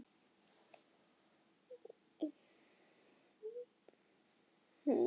Lífið verður að halda áfram þrátt fyrir allt, manstu?